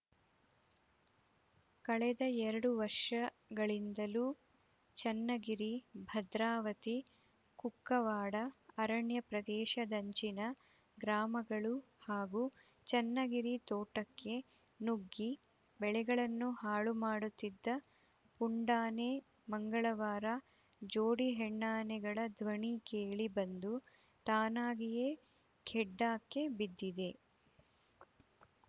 ಕಳೆದ ಎರಡು ವರ್ಷಗಳಿಂದಲೂ ಚನ್ನಗಿರಿ ಭದ್ರಾವತಿ ಕುಕ್ಕವಾಡ ಅರಣ್ಯ ಪ್ರದೇಶದಂಚಿನ ಗ್ರಾಮಗಳು ಹಾಗೂ ಚನ್ನಗಿರಿ ತೋಟಕ್ಕೆ ನುಗ್ಗಿ ಬೆಳೆಗಳನ್ನು ಹಾಳು ಮಾಡುತ್ತಿದ್ದ ಪುಂಡಾನೆ ಮಂಗಳವಾರ ಜೋಡಿ ಹೆಣ್ಣಾನೆಗಳ ಧ್ವನಿ ಕೇಳಿ ಬಂದು ತಾನಾಗಿಯೇ ಖೆಡ್ಡಾಕ್ಕೆ ಬಿದ್ದಿದೆ